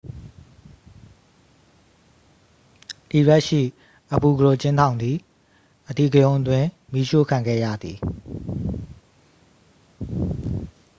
အီရတ်ရှိ အဘူ ဂရိုဘ် အကျဉ်းထောင်သည် အဓိကရုဏ်းအတွင်း မီးရှို့ခံခဲ့ရသည်